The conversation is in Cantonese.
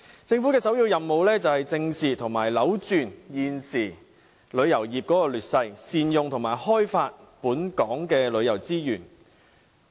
政府的首要任務，是正視和扭轉現時旅遊業的劣勢，善用和開發本港的旅遊資源。